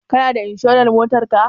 Kana da inshurar Motar ka?